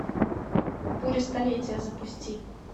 буря столетия запусти